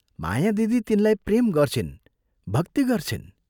माया दिदी तिनलाई प्रेम गर्छिन् भक्ति गर्छिन्।